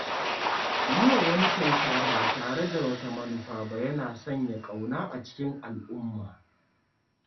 Yi wa wani kyauta ba tare da wata manufa ba yana sanya ƙauna a cikin al'umma.